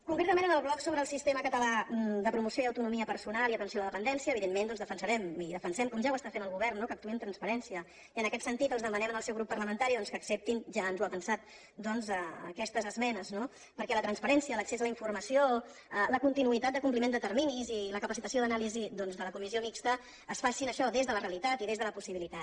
concretament en el bloc sobre el sistema català de promoció i autonomia personal i atenció a la dependència evidentment doncs defensarem i defensem com ja ho està fent el govern no que actuï amb transparència i en aquest sentit els demanem al seu grup parlamentari que acceptin ja ens ho avançat aquestes esmenes no perquè la transparència l’accés a la informació la continuïtat de compliment de terminis i la capacitació d’anàlisi doncs de la comissió mixta es facin això des de la realitat i des de la possibilitat